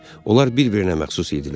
Onlar bir-birinə məxsus idilər.